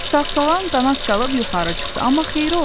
Sağsağan qanad çalıb yuxarı çıxdı, amma xeyri olmadı.